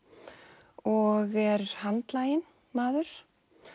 og er handlaginn maður